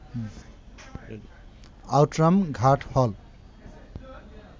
Outram Ghat হল